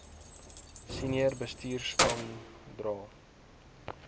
senior bestuurspan dra